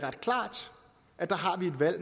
der er